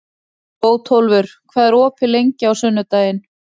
Bótólfur, hvað er opið lengi á sunnudaginn?